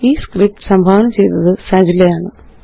ഈ സ്ക്രിപ്റ്റ് സംഭാവന ചെയ്തത് അനൂപ്എംആര് ആണ്